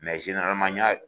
n ɲa